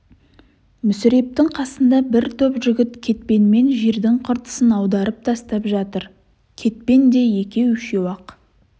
мүсірептің қасында бір топ жігіт кетпенмен жердің қыртысын аударып тастап жатыр кетпен де екеу-үшеу-ақ